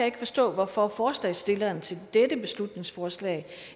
ikke forstå hvorfor forslagsstillerne til dette beslutningsforslag